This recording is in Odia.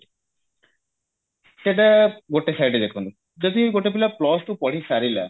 ସେଟା ଗୋଟେ side ରେ ଦେଖନ୍ତୁ ଯଦି ଗୋଟେ ପିଲା plus two ପଢିସାରିଲା